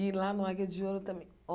E lá no Águia de Ouro também.